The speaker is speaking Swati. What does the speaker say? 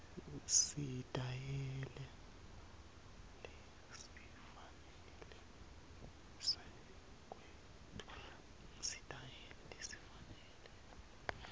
sitayela lesifanele sekwetfula